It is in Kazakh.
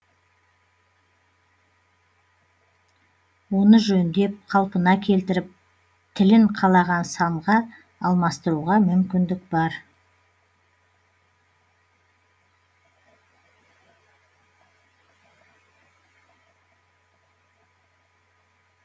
оны жөндеп қалпына келтіріп тілін қалаған санға алмастыруға мүмкіндік бар